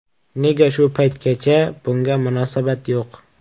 Nega shu paytgacha bunga munosabat yo‘q?